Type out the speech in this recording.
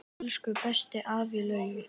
Elsku besti afi Laugi.